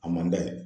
A man d'a ye